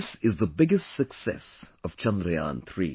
This is the biggest success of Chandrayaan3